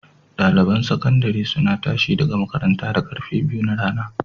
Ɗaliban sakandare suna tashi daga makaranta da karfe biyu na rana.